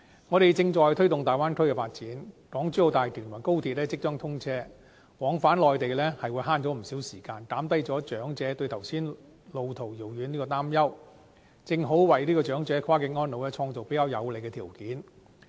我們正在推動粵港澳大灣區的發展，港珠澳大橋和高鐵即將通車，市民往返內地能節省不少時間，減低長者對剛才說路途遙遠的擔憂，正好為長者跨境安老創造比較有利的條件。